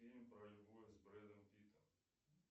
фильм про любовь с брэдом питтом